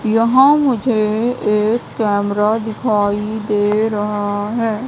यहां मुझे एक कैमरा दिखाई दे रहा है।